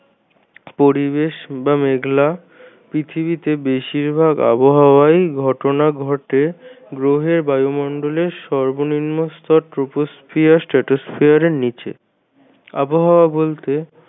পরিবেশ বা মেঘলা। পৃথিবীতে বেশিরভাগ আবহাওয়াই ঘটনা ঘটে গ্রহের বায়ুমন্ডলের সর্বনিম্ন স্তর troposphere stratosphere এর নিচে আবহাওয়া বলতে